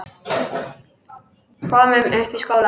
Komum upp í skóla!